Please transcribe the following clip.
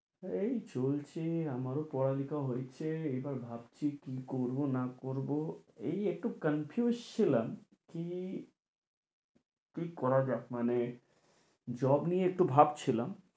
এই চলছে আমারও পড়ালেখা হয়েছে এবার ভাবছি কী করবো না করবো, এই একটু confuse ছিলাম কী, কী করা যায় মানে job নিয়ে একটু ভাবছিলাম